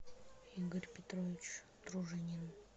игорь петрович дружинин